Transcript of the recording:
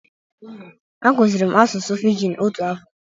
Akụzịrị m asụsụ fiji otu afọ.